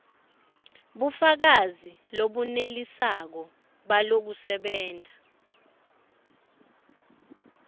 bufakazi lobunelisako balokusebenta